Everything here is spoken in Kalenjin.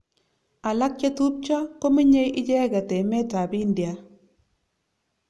Alak chetubjo kominyei icheket emet ab India.